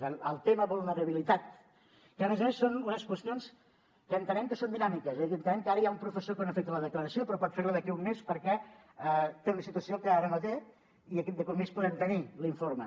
per tant el tema vulnerabilitat que a més a més són unes qüestions que entenem que són dinàmiques és a dir entenem que ara hi ha un professor que no ha fet la declaració però pot fer ho d’aquí a un mes perquè té una situació que ara no té i d’aquí a un mes podem tenir l’informe